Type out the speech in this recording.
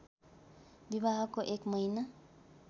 विवाहको एक महिना